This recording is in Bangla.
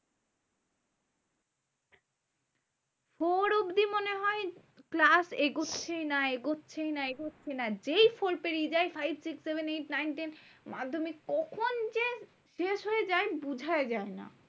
Four অব্দি মনে হয় class এগোচ্ছেই না এগোচ্ছেই না এগোচ্ছেই না। যেই four পেরিয়ে যায় five six seven eight nine ten মাধ্যমিক, কখন যে শেষ হয়ে যায়? বোঝাই যায় না।